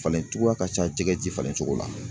Falen cogoya ka ca jɛgɛ ji falen cogo la.